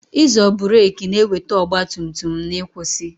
Ịzo burek na-eweta ọgba tum tum n'kwusi